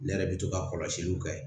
Ne yɛrɛ bɛ to ka kɔlɔsiliw kɛ